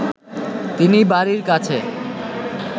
তিনি বাড়ির কাছে